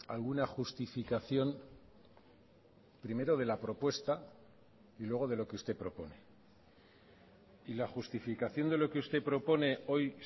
alguna justificación primero de la propuesta y luego de lo que usted propone y la justificación de lo que usted propone hoy